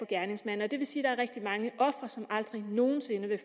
gerningsmændene og det vil sige at der er rigtig mange ofre som aldrig nogen sinde vil